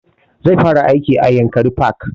Zai fara aiki a yankari park